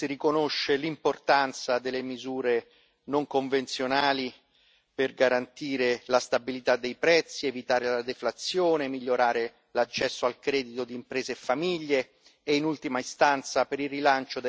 non convenzionali per garantire la stabilità dei prezzi, evitare la deflazione e migliorare l'accesso al credito di imprese e famiglie e, in ultima istanza, per il rilancio della crescita economica e dell'occupazione.